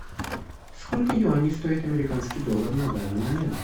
сколько юаней стоит американский доллар на данный момент